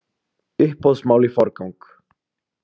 Uppboðsmál í forgang